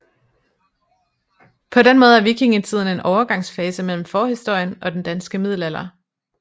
På den måde er vikingetiden en overgangsfase mellem forhistorien og den danske middelalder